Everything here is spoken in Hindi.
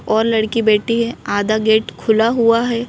और लड़की बैठी है आधा गेट खुला हुआ है।